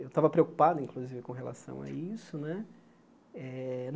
Eu estava preocupado, inclusive, com relação a isso né eh.